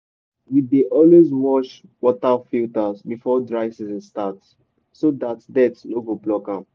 we dey always wash water filters before dry season start so dat dirt no go block am.